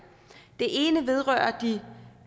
det ene vedrører de